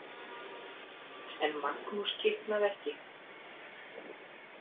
En Magnús kiknaði ekki.